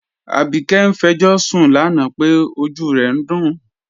Abike n fẹ̀jọṣun lánà pé ọjú rẹ̀ n dún